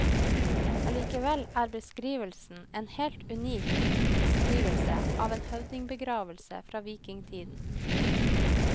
Allikevel er beskrivelsen en helt unik beskrivelse av en høvdingbegravelse fra vikingtiden.